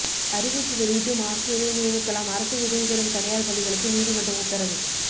அறிவிப்பு வெளியிட்டும் ஆசிரியரை நியமிக்கலாம் அரசு உதவிபெறும் தனியார் பள்ளிகளுக்கு நீதிமன்றம் உத்தரவு